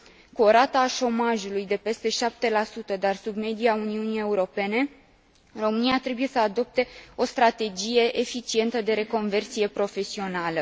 Cu o rată a șomajului de peste 7, dar sub media Uniunii Europene, România trebuie să adopte o strategie eficientă de reconversie profesională.